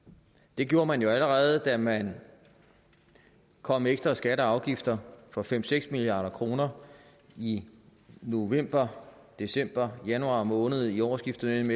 det gjorde man jo allerede da man kom med ekstra skatter og afgifter for fem seks milliard kroner i november december januar måned i årsskiftet mellem